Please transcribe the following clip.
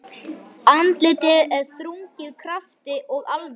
Andlitið er þrungið krafti og alvöru.